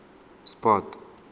sport